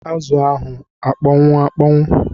Azụ a akpọnwụ akponwu?